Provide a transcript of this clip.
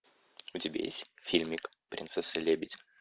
у тебя есть фильмик принцесса лебедь